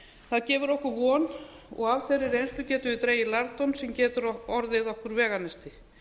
það gefur okkur von og af þeirri reynslu getum við dregið lærdóm sem getur orðið okkur veganesti